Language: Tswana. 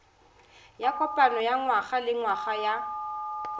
ya kopano ya ngwagalengwaga ya